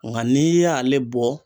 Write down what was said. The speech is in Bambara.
Nga n'i y'ale bɔ